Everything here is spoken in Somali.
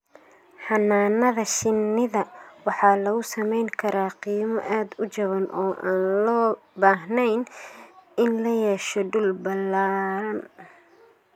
Xannaanada shinnida waxa lagu samayn karaa qiimo aad u jaban oo aan loo baahnayn in la yeesho dhul ballaadhan.